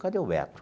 Cadê o Beto?